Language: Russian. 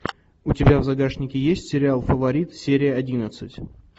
у тебя в загашнике есть сериал фаворит серия одиннадцать